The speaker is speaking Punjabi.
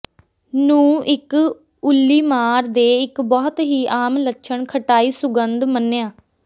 ਨੂੰ ਇੱਕ ਉੱਲੀਮਾਰ ਦੇ ਇੱਕ ਬਹੁਤ ਹੀ ਆਮ ਲੱਛਣ ਖਟਾਈ ਸੁਗੰਧ ਮੰਨਿਆ